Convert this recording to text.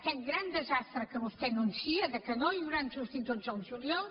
aquest gran desastre que vostè anuncia que no hi hauran substituts el juliol